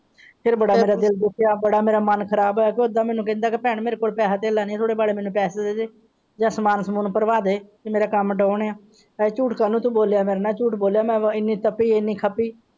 ਤੇ ਫੇਰ ਬੜਾ ਮੇਰਾ ਦਿਲ ਦੁਖੀਆ ਬੜਾ ਮੇਰਾ ਮਨ ਖ਼ਰਾਬ ਹੋਇਆ ਕਿ ਇਹਦਾ ਮੈਨੂੰ ਕਹਿੰਦਾ ਕਿ ਭੈਣ ਮੇਰੇ ਕੋਲ ਪੈਸਾ ਤੇਲਾ ਨਹੀਂ ਹੈ ਥੋੜੇ ਬਹੁਤ ਮੈਨੂੰ ਪੈਸੇ ਦੇ ਦੇ ਯਾ ਸਮਾਨ ਸਮਾਨ ਭਰਵਾ ਦੇ ਕਿ ਮੇਰਾ ਕੰਮ ਡਾਊਨ ਹੈ।